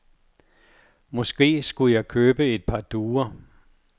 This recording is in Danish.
Måske skulle jeg købe et par duer.